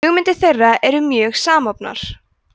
hugmyndir þeirra eru mjög samofnar